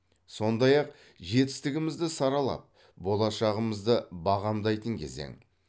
сондай ақ жетістігімізді саралап болашағымызды бағамдайтын кезең